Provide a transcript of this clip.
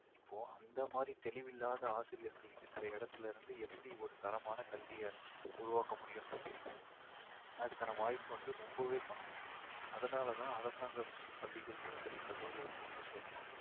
இப்போ அந்த மாதிரி தெளிவில்லாத ஆசிரியர்கள் இருக்கிற இடத்திலிருந்து எப்படி ஒரு தரமான கல்விய உருவாக்கமுடியும்னு நினைக்கிறீங்க அதுக்கான வாய்ப்பு வந்து ரொம்பவே கம்மி. அதனாலதான் அரசாங்கப் பள்ளிகளிலும் சரி கல்லூரிகளிலும் சரி